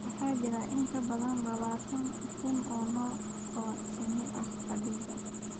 Waxaa jira in ka badan labaatan kun oo nooc oo shinni ah adduunka.